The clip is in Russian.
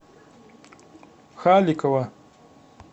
халикова